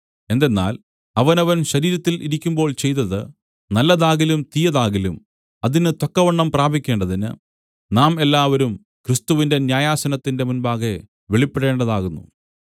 എന്തെന്നാൽ അവനവൻ ശരീരത്തിൽ ഇരിക്കുമ്പോൾ ചെയ്തത് നല്ലതാകിലും തീയതാകിലും അതിന് തക്കവണ്ണം പ്രാപിക്കേണ്ടതിന് നാം എല്ലാവരും ക്രിസ്തുവിന്റെ ന്യായാസനത്തിന്റെ മുമ്പാകെ വെളിപ്പെടേണ്ടതാകുന്നു